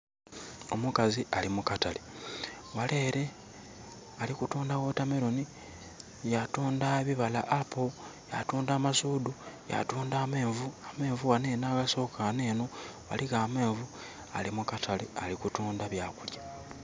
Omukazi ali mukatale ghale ere ali kutunda watermelon yatundha ebibala apple, ya tundha amasudu yatundha amenvu. Amenvu ghano awasooka ghano eno ghano amenvu ali kutundha mu katale byakulya